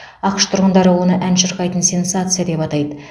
ақш тұрғындары оны ән шырқайтын сенсация деп атайды